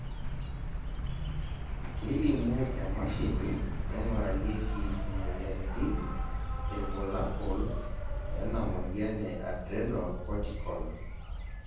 kelimu emashini naingurarieki imoyiaritin irbulabol lena moyian e Adrenocortical